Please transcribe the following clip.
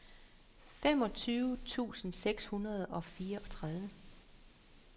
femogtyve tusind seks hundrede og fireogtredive